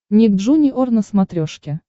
ник джуниор на смотрешке